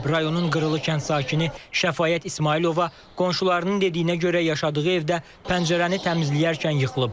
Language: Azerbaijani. Rayonun Qırılı kənd sakini Şəfaət İsmayılova qonşularının dediyinə görə yaşadığı evdə pəncərəni təmizləyərkən yıxılıb.